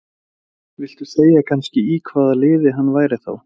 Viltu segja kannski í hvaða liði hann væri þá?